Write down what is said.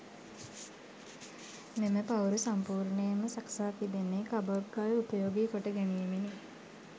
මෙම පවුරු සම්පූර්ණයෙන්ම සකසා තිබෙන්නේ කබොක් ගල් උපයෝගී කොට ගැනීමෙනි.